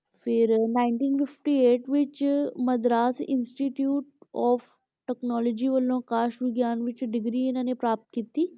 ਫਿਰ ninety fifty eight ਵਿੱਚ Madras institute of technology ਵਲੋਂ ਆਕਾਸ਼ ਵਿਗਿਆਨ ਵਿੱਚ degree ਇਹਨਾਂ ਨੇ ਪ੍ਰਾਪਤ ਕੀਤੀ।